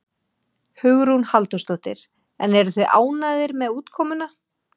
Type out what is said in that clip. Hugrún Halldórsdóttir: En eruð þið ánægðir með útkomuna?